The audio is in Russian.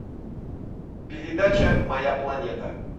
передача моя планета